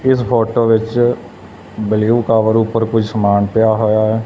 ਇਸ ਫੋਟੋ ਵਿੱਚ blue cover ਉੱਪਰ ਕੋਈ ਸਮਾਨ ਪਿਆ ਹੋਇਆ ਹੈ।